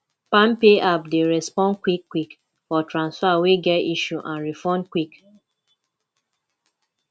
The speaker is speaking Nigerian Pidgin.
palmpay app dey respond quick quick for transfer wey get issue and refund quick